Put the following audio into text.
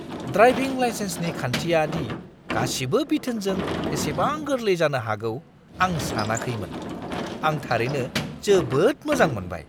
Driving लाइसेन्सनि खान्थिया दि गासिबो बिथोनजों एसेबां गोरलै जानो हागौ आं सानाखैनोमोन । आं थारैनो जोबोद मोजां मोनबाय!